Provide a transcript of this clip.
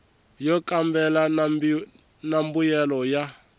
yo kambela na mimbuyelo ya